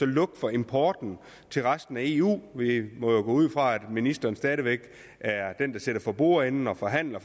lukke for importen til resten af eu vi må jo gå ud fra at ministeren stadig væk er den der sidder for bordenden og forhandler